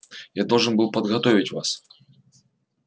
я должен был подготовить вас